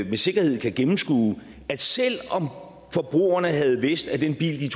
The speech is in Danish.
med sikkerhed kan gennemskue at selv om forbrugerne havde vidst at den bil de